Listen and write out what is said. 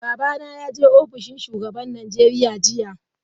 Babana ya je ofishin shugaban Najeriya jiya.